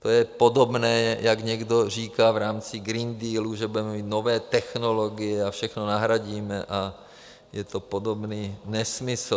To je podobné, jako někdo říká v rámci Green Dealu, že budeme mít nové technologie a všechno nahradíme, a je to podobný nesmysl.